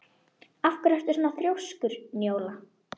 Af hverju ertu svona þrjóskur, Njóla?